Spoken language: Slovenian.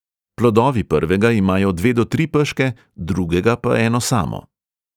Plodovi prvega imajo dve do tri peške, drugega pa eno samo.